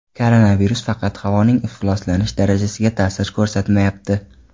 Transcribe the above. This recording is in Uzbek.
Koronavirus faqat havoning ifloslanish darajasiga ta’sir ko‘rsatmayapti.